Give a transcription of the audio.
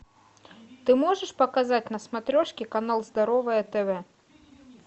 ты можешь показать на смотрешке канал здоровое тв